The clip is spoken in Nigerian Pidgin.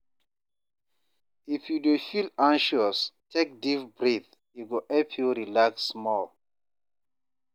If you dey feel anxious, take deep breath; e go help you relax small.